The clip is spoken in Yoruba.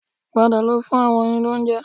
Padà lọ fún àwọn oyin ní oúnjẹ